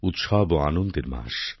উৎসব ও আনন্দের মাস